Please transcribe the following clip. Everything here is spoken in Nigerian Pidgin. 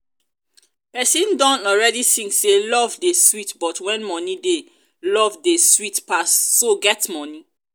person don already sing say love dey sweet but when money dey love dey sweet pass so you get money?